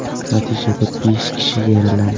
Natijada besh kishi yaralandi.